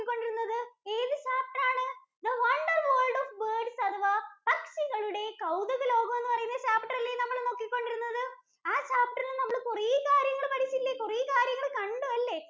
കൊണ്ടിരുന്നത്? ഏത് chapter ആണ് the wonder world of birds അഥവാ പക്ഷികളുടെ കൗതുക ലോകം എന്നു പറയുന്ന chapter അല്ലേ നമ്മൾ നോക്കികൊണ്ടിരിക്കുന്നത്. ആഹ് chapter ഇൽ നിന്ന് നമ്മൾ കുറേ കാര്യങ്ങൾ പഠിച്ചില്ലേ? കൊറേ കാര്യങ്ങള്‍ കണ്ടു അല്ലേ?